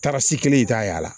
Taarasi kelen i t'a y'a la